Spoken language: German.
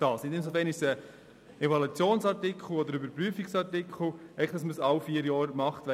Das würde einem Evaluationsartikel entsprechen.